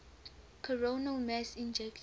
coronal mass ejections